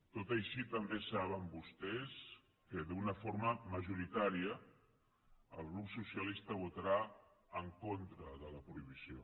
tot i així també saben vostès que d’una forma majoritària el grup socialistes votarà en contra de la prohibició